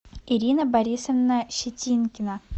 ирина борисовна щетинкина